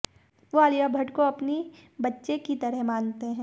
वो आलिया भट्ट को अपनी बच्चे की तरह की मानते हैं